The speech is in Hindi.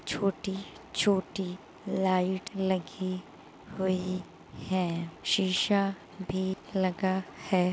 छोटी छोटी लाइट लगी हुई है शीशा भी लगा है।